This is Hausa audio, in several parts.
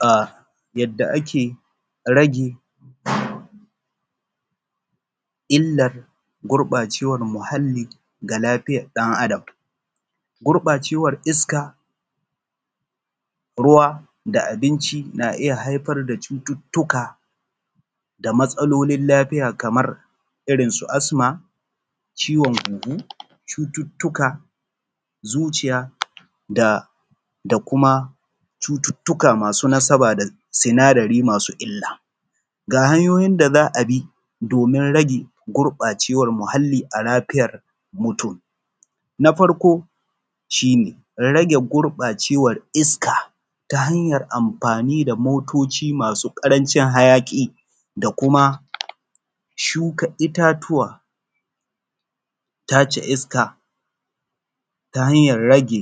A yadda ake rage illar gurɓacewan muhalli ga lafiyar ɗan’Adam gurfacewa iska, ruwa da abinci na iya haifar da cututtuka da matsalolin lafiya kaman irin su asma, ciwon hunhu, cututtuka zuciya da kuma cututtuka masu nasaba da sinadari masu illa. Ga hanyoyin da za a bi domin rage gurɓacewan muhalli a lafiyar mutum na farko shi ne rage gurɓacewan iska ta hanyan amfani da motoci masu ƙarancin hayaƙi da kuma shuka itatuwa, tace iska ta hanyan rage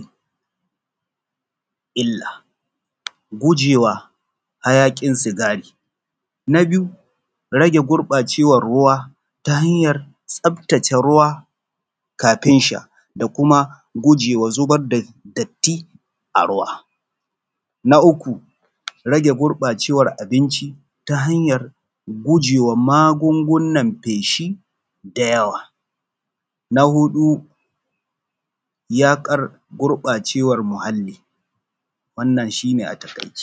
illa gujewa hayaƙin sigari, na biyu rage gurɓacewan ruwa ta hanyan tsaftace ruwa kafin sha da kuma gujewa zubar da datti a ruwa. Na uku rage gurɓacewan abinc ita hanyar gujewa magungunan feshi da hawa, na huɗu yaƙar gurɓacewan muhalli wannan shi ne a taƙaice Hausa.